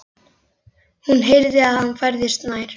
Hún heyrði að hann færðist nær.